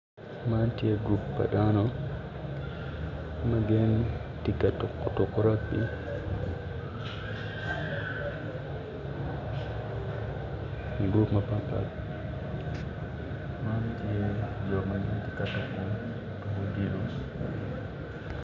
Man tye gurup pa dano ma gitye ka tuko tuko ma kilwongo ni rugby igurup ma patpat man tye jo ma gitye ka tuko tuko odilo.